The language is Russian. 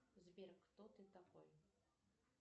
сбер кто ты такой